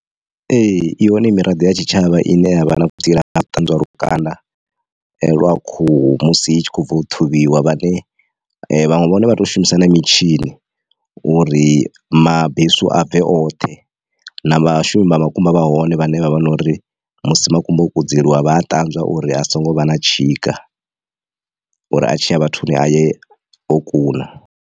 Ee i hone miraḓo ya tshitshavha ine yavha na vhutsila ha u ṱanzwa lukanda lwa khuhu musi itshi kho bva u ṱhavhiwa vhane vhaṅwe vhone vha to shumisa na mitshini uri mabesu a bve oṱhe na vhashumi vha makumba vha hone vhane vhavha na uri musi makumba o kudzeliwa vha a ṱanzwa uri a songo vha na tshika uri a tshiya vhathuni a ye o kuna.